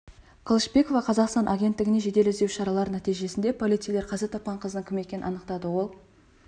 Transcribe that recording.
қылышбекова қазақстан агенттігіне жедел іздеу шаралары нәтижесінде полицейлер қаза тапқан қыздың кім екенін анықтады ол